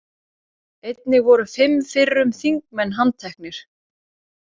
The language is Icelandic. Einnig voru fimm fyrrum þingmenn handteknir